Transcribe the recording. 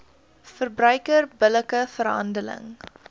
verbruiker billike verhandeling